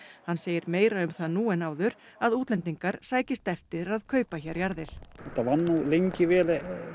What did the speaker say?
hann segir meira um það nú en áður að útlendingar sækist eftir að kaupa hér jarðir þetta var nú lengi vel